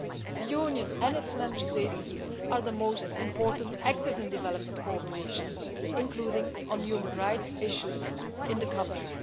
The Union and its Member States are the most important actors in development cooperation, including on human rights issues in the country.